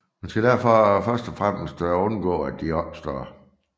Man skal derfor først og fremmest undgå at de opstår